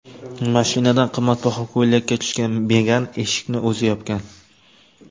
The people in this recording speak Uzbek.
Mashinadan qimmatbaho ko‘ylakda tushgan Megan eshikni o‘zi yopgan.